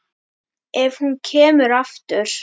Ef hún kemur aftur.